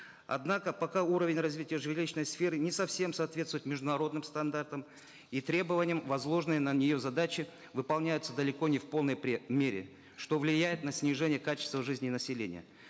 однако пока уровень развития жилищной сферы не совсем соответствует международным стандартам и требованиям возложенные на нее задачи выполняются далеко не в полной мере что влияет на снижение качества жизни населения